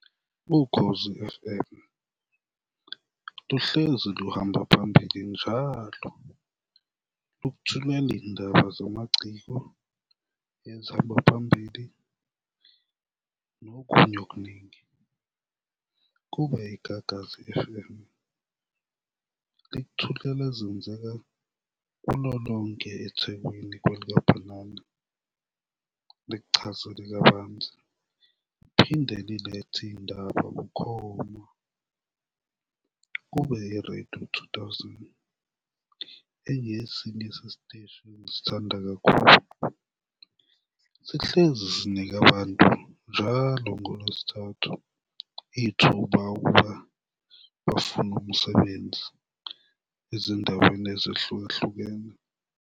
Ukhozi F_M luhlezi luhamba phambili njalo, lukuthumela iy'ndaba zamaciko ezihamba phambili nokunye okuningi. Kube iGagasi F_M, likuthulela ezenzeka kulo lonke eThekweni kwelikabhanana, bekuchazele kabanzi liphinde lilethe iy'ndaba bukhoma. Kube i-Radio two thousand, engesinye sesiteshi engisithanda kakhulu, sihlezi sinika abantu njalo ngoLwesithathu ithuba ukuba bafune umsebenzi ezindaweni ezehlukahlukene.